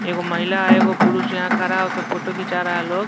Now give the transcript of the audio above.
एक गो महिला एक गो पुरुष यहाँ खरा होके फोटो खिंचा रहा है ऊ लोग।